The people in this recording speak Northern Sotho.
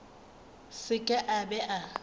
se ke a be a